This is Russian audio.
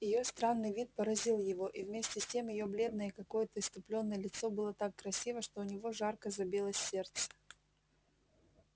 её странный вид поразил его и вместе с тем её бледное и какое-то исступлённое лицо было так красиво что у него жарко забилось сердце